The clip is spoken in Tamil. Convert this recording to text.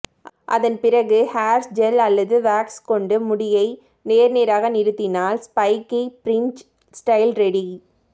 அதன்பிறகு ஹேர்ஜெல் அல்லது வாக்ஸ் கொண்டு முடியை நேர் நேராக நிறுத்தினால் ஸ்பைக்கி பிரின்ஜ் ஸ்டைல் ரெடி